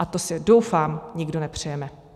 A to si, doufám, nikdo nepřejeme.